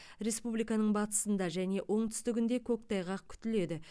республиканың батысында және оңтүстігінде көктайғақ күтіледі